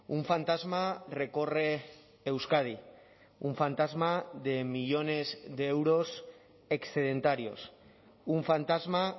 un fantasma recorre euskadi un fantasma de millónes de euros excedentarios un fantasma